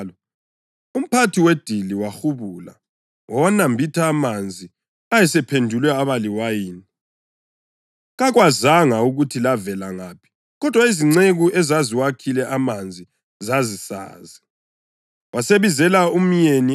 umphathi wedili wahubula wawanambitha amanzi ayesephendulwe abaliwayini. Kakwazanga ukuthi lavela ngaphi, kodwa izinceku ezaziwakhile amanzi zazisazi. Wasebizela umyeni eceleni